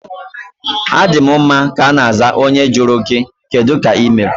Adi m mma ka ana aza onye jụrụ gị kedụ ka ịmere?